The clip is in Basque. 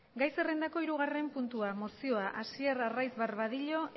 gai zerrendako hirugarren puntua mozioa hasier arraiz barbadillo